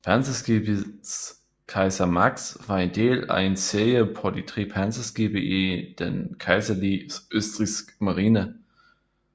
Panserskibet Kaiser Max var en del af en serie på tre panserskibe i den kejserlige østrigske marine